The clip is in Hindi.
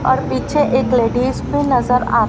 और पीछे एक लेडीज भी नजर आ--